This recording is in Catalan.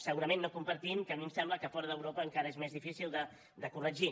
segurament no compartim que a mi em sembla que a fora d’europa encara és més difícil de corregir